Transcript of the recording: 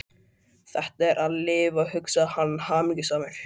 Þetta er að lifa, hugsaði hann hamingjusamur.